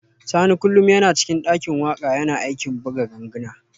Sani kullum yana cikin dakin waka yana aikin buga ganguna